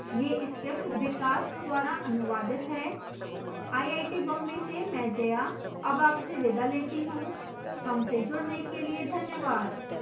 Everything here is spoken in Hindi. यह script विकास द्वारा अनुवादित है मैं जया अब आपसे विदा लेती हूँ हमसे जुडने के लिए धन्यवाद